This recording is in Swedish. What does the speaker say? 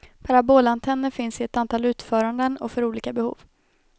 Parabolantenner finns i ett antal utföranden och för olika behov.